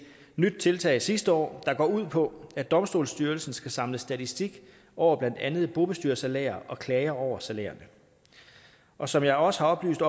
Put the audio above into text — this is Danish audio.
nyt tiltag sidste år der går ud på at domstolsstyrelsen skal samle statistik over blandt andet bobestyrersalærer og klager over salærerne og som jeg også har oplyst